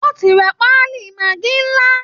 Wọ́n ti ra pálí maggi ńlá